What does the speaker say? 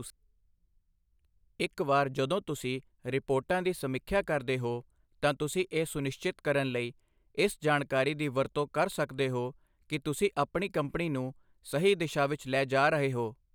ਇੱਕ ਵਾਰ ਜਦੋਂ ਤੁਸੀਂ ਰਿਪੋਰਟਾਂ ਦੀ ਸਮੀਖਿਆ ਕਰਦੇ ਹੋ, ਤਾਂ ਤੁਸੀਂ ਇਹ ਸੁਨਿਸ਼ਚਿਤ ਕਰਨ ਲਈ ਇਸ ਜਾਣਕਾਰੀ ਦੀ ਵਰਤੋਂ ਕਰ ਸਕਦੇ ਹੋ ਕਿ ਤੁਸੀਂ ਆਪਣੀ ਕੰਪਨੀ ਨੂੰ ਸਹੀ ਦਿਸ਼ਾ ਵਿੱਚ ਲੈ ਜਾ ਰਹੇ ਹੋ।